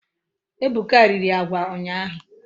Ebuka riri agwa unyahu